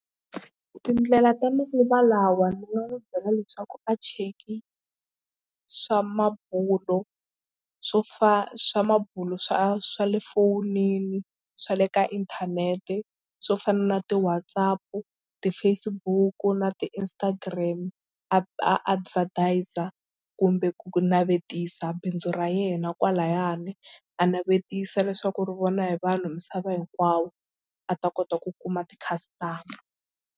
Tindlela ta manguva lawa ndzi nga n'wi byela leswaku a cheki swa mabulo swo swa mabulo swa swa le fonini swa le ka inthanete swo fana na ti-WhatsApp, ti-Facebook na ti-Instagram a a advertiser kumbe ku navetisa bindzu ra yena kwalayani a navetisa leswaku ri vona hi vanhu misava hinkwawo a ta kota ku kuma ti-customer.